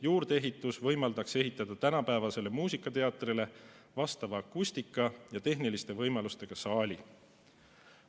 Juurdeehitus võimaldaks ehitada tänapäevasele muusikateatrile vastava akustikaga ja tehniliste võimalustega saali.